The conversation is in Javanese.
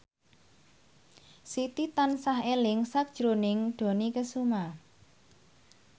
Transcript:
Siti tansah eling sakjroning Dony Kesuma